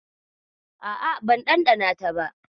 A'a, ban ɗanɗana ta ba